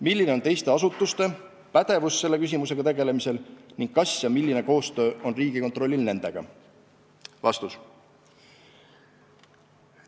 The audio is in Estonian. Milline on teiste asutuste pädevus selle küsimusega tegelemisel ning kas ja milline koostöö on Riigikontrollil nendega?